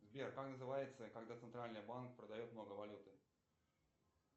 сбер как называется когда центральный банк продает много валюты